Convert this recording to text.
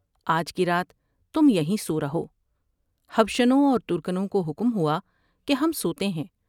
آج کی رات تم یہیں سور ہو '''' جشنوں اور ترکنوں کو حکم ہوا کہ ہم سوتے ہیں ۔